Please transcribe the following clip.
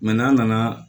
n'an nana